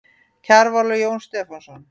Kjarval og Jón Stefánsson.